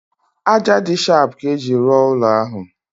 Ájá dị shapụ ka ejiri rụọ ụlọ ahụ